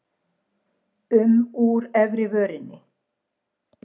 um úr efri vörinni.